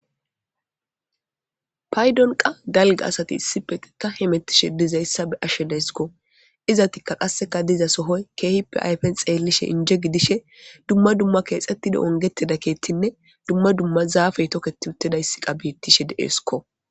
paydonqa dalga asati issipete ta hemettishe dizayssa be ashshedayskko izatikka qasseka diza sohoy keehippe ayfen xeellishe inje gidishe dumma dumma keexettida ongeteda keetinne dumma dumma zaafey toketi uttidayssi qa biittishe deeeskko